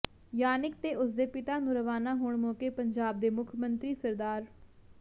ਯਾਨਿਕ ਤੇ ਉਸਦੇ ਪਿਤਾ ਨੂੰ ਰਵਾਨਾ ਹੋਣ ਮੌਕੇ ਪੰਜਾਬ ਦੇ ਮੁੱਖ ਮੰਤਰੀ ਸ